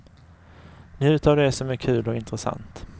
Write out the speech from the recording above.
Njut av det som är kul och intressant.